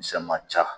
Misɛn ma ca